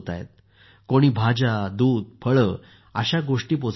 कोणी भाज्या दूध फळे अशा गोष्टी पोहचवत आहेत